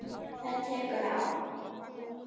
Það tekur ár.